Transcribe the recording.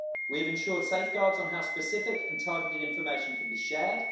We have ensured safeguards on how specific and targeted information can be shared.